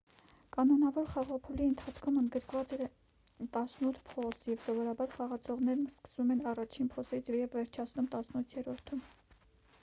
կանոնավոր խաղափուլի ընթացքում ընդգրկված է տասնութ փոս և սովորաբար խաղացողներն սկսում են առաջին փոսից և վերջացնում տասնութերորդում